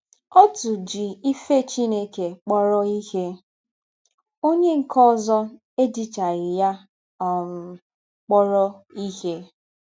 Ọtụ ji ife Chineke kpọrọ ihe, ọnye nke ọzọ ejichaghị ya um kpọrọ ihe.